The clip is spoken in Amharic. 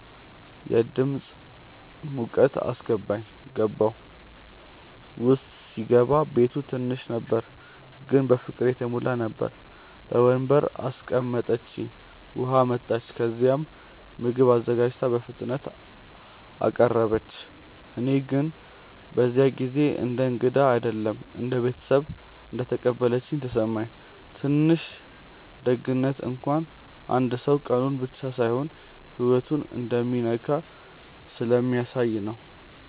የድምፃ ሙቀት አስገባኝ። ገባሁ። ውስጥ ሲገባ ቤቱ ትንሽ ነበር ግን በፍቅር የተሞላ ነበር። በወንበር አስቀምጠችኝ፣ ውሃ አመጣች፣ ከዚያም ምግብ አዘጋጅታ በፍጥነት አቀረበች። እኔ ግን በዚያ ጊዜ እንደ እንግዳ አይደለም እንደ ቤተሰብ እንደተቀበለችኝ ተሰማኝ። ትንሽ ደግነት እንኳን አንድ ሰው ቀኑን ብቻ ሳይሆን ህይወቱን እንደሚነካ ስለሚያሳየ ነው